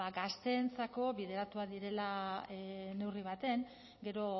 gazteentzako bideratuak direla neurri batean gero